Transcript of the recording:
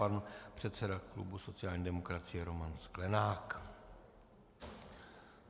Pan předseda klubu sociální demokracie Roman Sklenák.